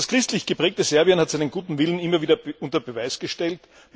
Das christlich geprägte Serbien hat seinen guten Willen immer wieder unter Beweis gestellt.